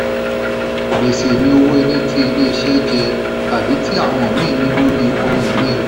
gbèsè ni owó tí ilé-iṣẹ́ jẹ tàbí tí àwọn míì ní lórí ohun-ini rẹ.